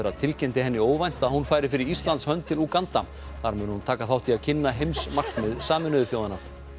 tilkynnti henni óvænt að hún færi fyrir Íslands hönd til Úganda þar mun hún taka þátt í að kynna heimsmarkmið Sameinuðu þjóðanna